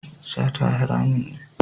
Sata haramun ne.